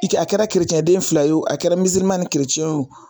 I ka a kɛra kerecɛnden fila ye o a kɛra ni ye o.